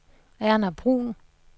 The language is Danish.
Erna Bruhn